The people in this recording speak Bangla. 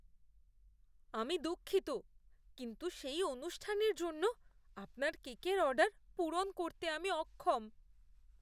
আমি দুঃখিত, কিন্ত সেই অনুষ্ঠানের জন্য আপনার কেকের অর্ডার পূরণ করতে আমি অক্ষম।